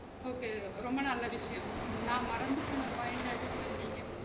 Okay ரொம்ப நல்ல விஷயம். நா மறந்து போன point அ actual ஆ நீங்க இப்ப